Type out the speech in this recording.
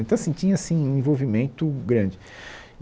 Então, assim, tinha assim um envolvimento grande.